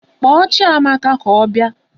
Kpọọ Chiamaka ka ọ bịa!